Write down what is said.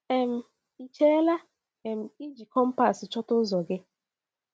um Ị chela um iji kọ̀mpas chọta ụzọ gị?